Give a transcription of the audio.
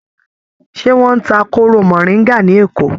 Ṣé wọ́n ń ta kóró mọ̀ríńgà ní Èkó?